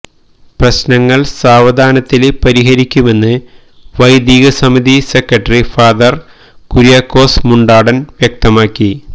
പ്രശ്നങ്ങള് സാവധാനത്തില് പരിഹരിക്കുമെന്ന് വൈദിക സമിതി സെക്രട്ടറി ഫാ കുര്യാക്കോസ് മുണ്ടാടന് വ്യക്തമാക്കി